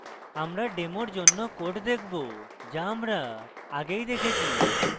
আমরা demo জন্য code দেখবো যা আমরা আগেই দেখেছি